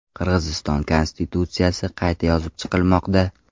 Qirg‘iziston konstitutsiyasi qayta yozib chiqilmoqda.